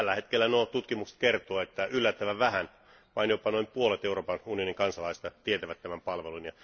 Tällä hetkellä nuo tutkimukset kertovat, että yllättävän vähän, vain jopa noin puolet Euroopan unionin kansalaisista, tietävät tämän palvelun.